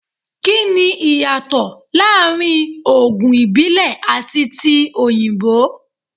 Kí ni ìyàtọ̀ láàrin Ògùn ìbílẹ̀ àti ti òyìnbó?